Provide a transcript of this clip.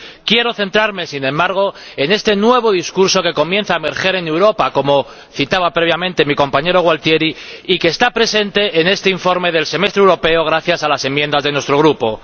Quiero centrarme, sin embargo, en este nuevo discurso que comienza a emerger en Europa —como citaba previamente mi compañero Gualtieri— y que está presente en este informe del Semestre Europeo gracias a las enmiendas de nuestro Grupo.